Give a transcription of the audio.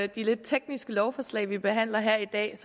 de lidt tekniske lovforslag vi behandler her i dag